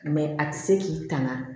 a ti se k'i tanga